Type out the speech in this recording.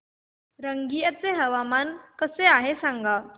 रंगिया चे हवामान कसे आहे सांगा